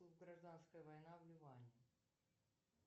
гражданская война в ливане